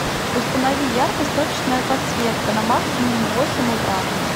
установи яркость точечная подсветка на максимум в восемь утра